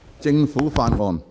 政府法案。